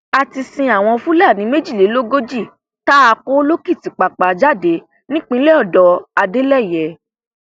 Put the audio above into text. a ti sin àwọn fúlàní méjìlélógójì tá a kó lòkìtìpápá jáde nípínlẹ ọdọ adeleye